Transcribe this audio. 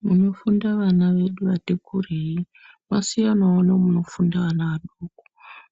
Kuno funda vana vedu vati kurei kwa siyanawo nemuno funda vana vadoko